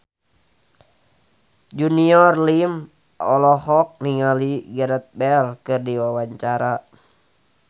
Junior Liem olohok ningali Gareth Bale keur diwawancara